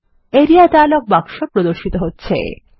area dialog বাক্স প্রদর্শিত হচ্ছে